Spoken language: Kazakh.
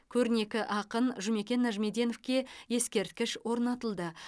көрнекі ақын жұмекен нәжімеденовке ескерткіш орнатылды